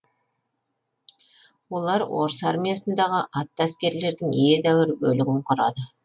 олар орыс армиясындағы атты әскерлердің едәуір бөлігін құрады